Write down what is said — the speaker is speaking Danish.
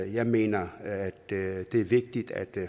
jeg mener det er vigtigt at